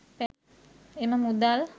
එම මුදල්